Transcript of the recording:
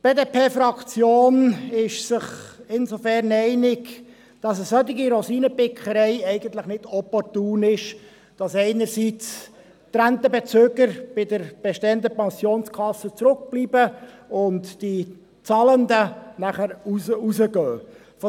Die BDP-Fraktion ist sich insofern einig, als eine solche Rosinenpickerei eigentlich nicht opportun ist, dass einerseits die Rentenbezüger bei der bestehenden Pensionskasse zurückbleiben und die Zahlenden rausgehen.